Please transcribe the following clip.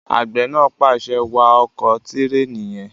Àgbẹ̀ náà pàṣẹ, "wa ọkọ̀ tẹ̀ríìnì yẹn!"